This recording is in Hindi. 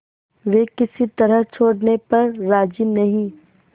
वे किसी तरह छोड़ने पर राजी नहीं